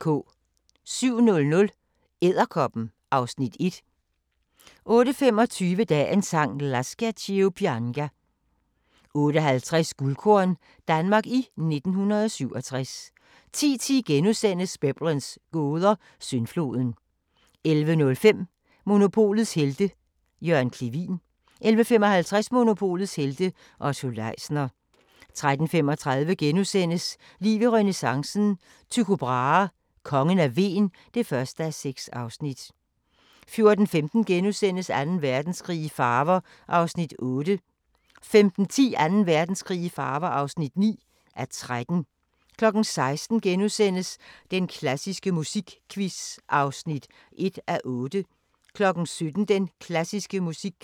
07:00: Edderkoppen (Afs. 1) 08:25: Dagens Sang: Lascia ch'io pianga 08:50: Guldkorn – Danmark i 1967 10:10: Biblens gåder – Syndfloden * 11:05: Monopolets Helte – Jørgen Clevin 11:55: Monopolets helte - Otto Leisner 13:35: Liv i renæssancen – Tycho Brahe: Kongen af Hven (1:6)* 14:15: Anden Verdenskrig i farver (8:13)* 15:10: Anden Verdenskrig i farver (9:13) 16:00: Den klassiske musikquiz (1:8)*